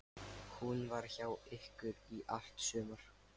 Hún var hjá ykkur í allt sumar.